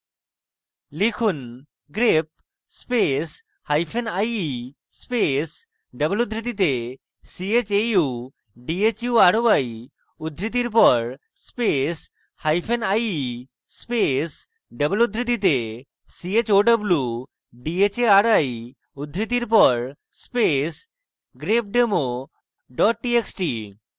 লিখুন: